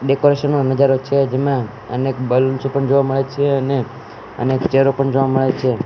Decoration નો નજારો છે જેમાં અનેક બલ્બ પણ જોવા મળે છે અને અનેક ચેહરા પણ જોવા મળે છે.